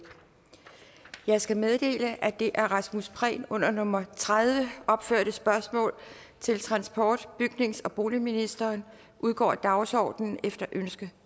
jeg skal meddele at det af rasmus prehn under nummer tredive opførte spørgsmål til transport bygnings og boligministeren udgår af dagsordenen efter ønske